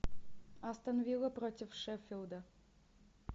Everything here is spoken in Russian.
астон вилла против шеффилда